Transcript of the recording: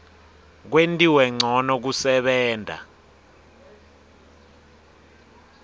kwentiwe ncono kusebenta